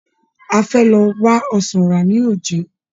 A fẹ́ lọ wá ọsàn rà lójé.